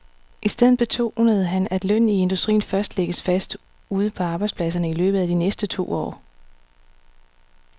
I stedet betonede han, at lønnen i industrien først lægges fast ude på arbejdspladserne i løbet af de næste to år.